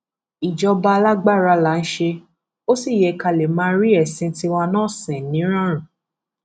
ìjọba alágbára là ń ṣe ó sì yẹ ká lè máa rí ẹsìn tiwa náà sìn nírọrùn